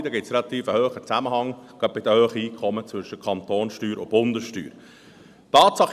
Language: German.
Dort gibt es einen relativ hohen Zusammenhang zwischen Kantonssteuer und Bundessteuer, gerade bei den hohen Einkommen.